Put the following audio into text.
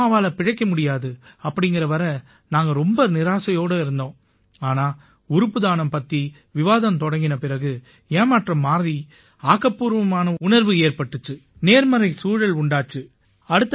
அம்மாவால பிழைக்க முடியாது அப்படீங்கற வரை நாங்க ரொம்ப நிராசையோட இருந்தோம் ஆனா உறுப்பு தானம் பத்தி விவாதம் தொடங்கின பிறகு ஏமாற்றம் மாறி ஆக்கப்பூர்வமான உணர்வு ஏற்பட்டிச்சு நேர்மறை சூழல் உண்டாச்சு